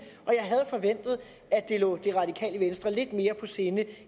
jeg at det lå det radikale venstre lidt mere på sinde